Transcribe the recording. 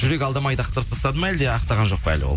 жүрек алдмайды ақтап тастады ма әлде ақтаған жоқ па ол